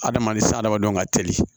Adamaden sa adamadenw ka teli